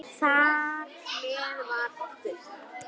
Þar með var okkur